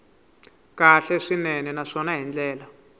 kahle swinene naswona hi ndlela